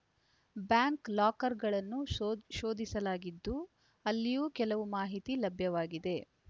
bank ಲಾಕರ್‌ಗಳನ್ನು ಶೋ ಶೋಧಿಸಲಾಗಿದ್ದು ಅಲ್ಲಿಯೂ ಕೆಲವು ಮಾಹಿತಿ ಲಭ್ಯವಾಗಿದೆ